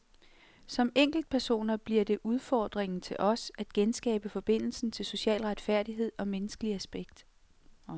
Som enkeltpersoner bliver det udfordringen til os at genskabe forbindelsen til social retfærdighed og menneskelig respekt.